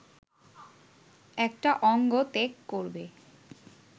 একটা অঙ্গ ত্যাগ করবে